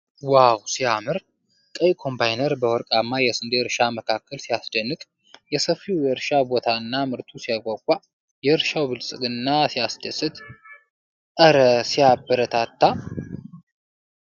ዋው ሲያምር ! ቀይ ኮምባይነር በወርቃማ የስንዴ እርሻ መካከል ሲያስደንቅ! ሰፊው የእርሻ ቦታና ምርቱ ሲያጓጓ! የእርሻው ብልጽግና ሲያስደስት! እረ ሲያበረታታ!